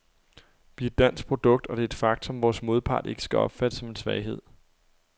Vi er et dansk produkt, og det er et faktum, vores modpart ikke skal opfatte som en svaghed.